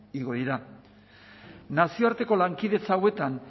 igo dira nazioarteko lankidetza hauetan